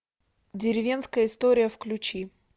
деревенская история включи